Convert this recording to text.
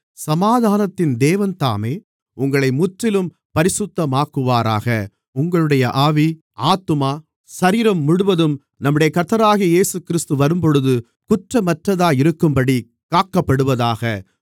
சமாதானத்தின் தேவன்தாமே உங்களை முற்றிலும் பரிசுத்தமாக்குவாராக உங்களுடைய ஆவி ஆத்துமா சரீரம் முழுவதும் நம்முடைய கர்த்தராகிய இயேசுகிறிஸ்து வரும்போது குற்றமற்றதாயிருக்கும்படி காக்கப்படுவதாக